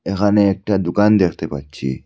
এখানে একটা দুকান দেখতে পাচ্ছি।